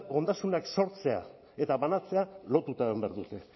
ondasunak sortzeak eta banatzeak lotuta egon behar dute